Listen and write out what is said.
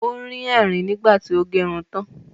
Ó rín ẹ̀rìn nígbà tí ó gerun tán